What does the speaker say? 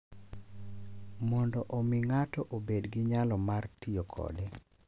Mondo omi ng’ato obed gi nyalo mar tiyo kode.